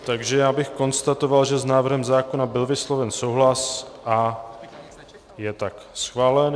Takže já bych konstatoval, že s návrhem zákona byl vysloven souhlas a je tak schválen.